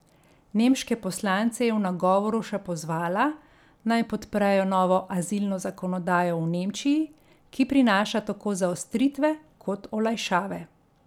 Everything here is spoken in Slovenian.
Nemške poslance je v nagovoru še pozvala, naj podprejo novo azilno zakonodajo v Nemčiji, ki prinaša tako zaostritve kot olajšave.